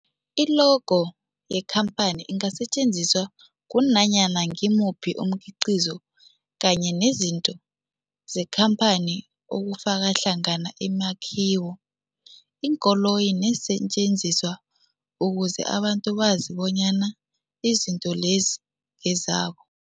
I-logo yekhamphani ingasetjenziswa kunanyana ngimuphi umkhiqizo kanye nezinto zekhamphani okufaka hlangana imakhiwo, iinkoloyi neensentjenziswa ukuze abantu bazi bonyana izinto lezo ngezabo.